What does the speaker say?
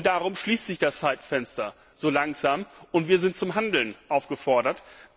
Darum schließt sich das Zeitfenster langsam, und wir sind zum Handeln aufgefordert.